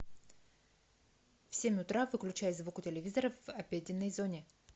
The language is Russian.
в семь утра выключай звук у телевизора в обеденной зоне